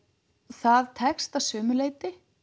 það tekst að sumu leyti